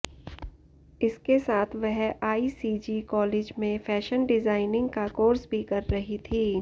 इसके साथ वह आईसीजी कॉलेज में फैशन डिजाइनिंग का कोर्स भी कर रही थी